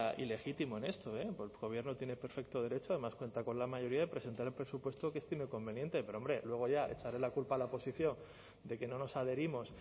ilegítimo en esto porque el gobierno tiene perfecto derecho además cuenta con la mayoría de presentar el presupuesto que estime conveniente pero hombre luego ya echarle la culpa la oposición de que no nos adherimos